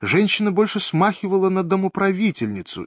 женщина больше смахивала на домоправительницу